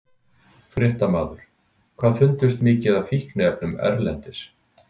Fréttamaður: Hvað fundust mikið af fíkniefnum erlendis?